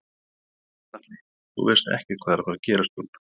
Gunnar Atli: Þú veist ekkert hvað er að fara gerast Jón?